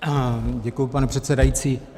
Děkuji, pane předsedající.